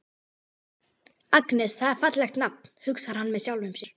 Agnes, það er fallegt nafn, hugsar hann með sjálfum sér.